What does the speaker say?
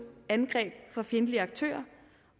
angreb fra fjendtlige aktører